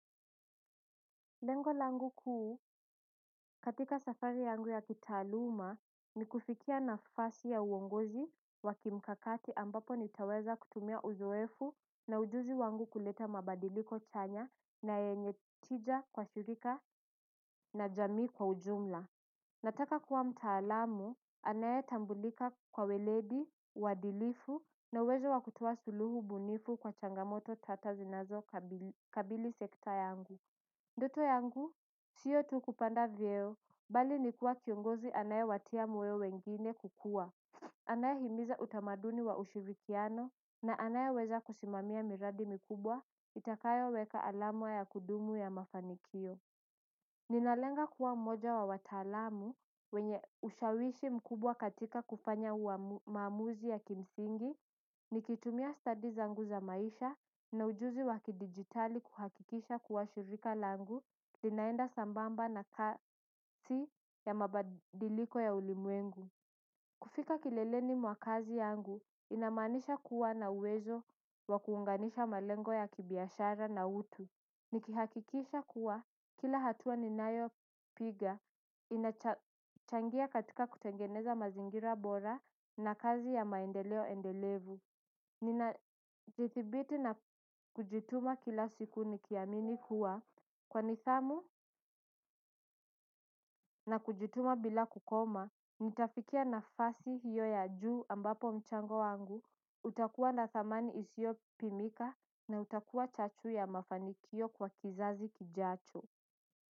Lengo langu kuu katika safari yangu ya kitaaluma ni kufikia nafasi ya uongozi wakimkakati ambapo nitaweza kutumia uzoefu na ujuzi wangu kuleta mabadiliko chanya na yenye tija kwa shirika na jamii kwa ujumla nataka kuwa mtaalamu anayetambulika kwa weledi, uadilifu na uwezo wa kutoa suluhu bunifu kwa changamoto tata zinazokabili sekta yangu ndoto yangu, siyo tu kupanda vyeo, bali nikua kiongozi anayewatia moyo wengine kukua anayehimiza utamaduni wa ushirikiano, na anayeweza kusimamia miradi mkubwa, itakayoweka alama ya kudumu ya mafanikio. Ninalenga kuwa mmoja wa wataalamu wenye ushawishi mkubwa katika kufanya maamamuzi ya kimsingi, nikitumia studies zangu za maisha na ujuzi wakidigitali kuhakikisha kuwa shirika langu, linaenda sambamba na kasi ya mabadiliko ya ulimwengu. Kufika kileleni mwa kazi yangu inamanisha kuwa na uwezo wakuunganisha malengo ya kibiashara na utu nikihakikisha kuwa kila hatua ninayopiga inachangia katika kutengeneza mazingira bora na kazi ya maendeleo endelevu. Ninajithibiti na kujutuma kila siku nikiamini kuwa kwa nidhamu na kujutuma bila kukoma, nitafikia nafasi hiyo ya juu ambapo mchango wangu, utakuwa na thamani isiopimika na utakuwa chachu ya mafanikio kwa kizazi kijacho.